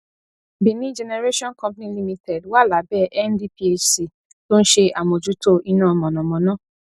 benin generation company limited wà lábẹ ndphc tó ń ṣe àmójútó iná mọnamọná